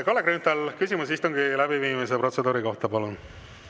Kalle Grünthal, küsimus istungi läbiviimise protseduuri kohta, palun!